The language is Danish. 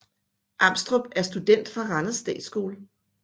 Amstrup er student fra Randers Statsskole